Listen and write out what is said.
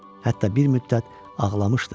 Hətta bir müddət ağlamışdı da.